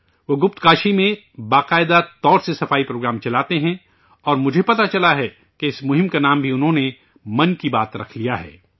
وہ ، گپت کاشی میں باقاعدہ طور پر صفائی پروگرام چلاتے ہیں ، اور مجھے پتہ چلا ہے کہ اس مہم کا نام بھی انہوں نے 'من کی بات ' رکھ لیا ہے